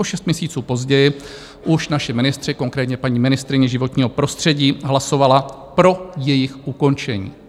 O šest měsíců později už naši ministři, konkrétně paní ministryně životního prostředí, hlasovala pro jejich ukončení.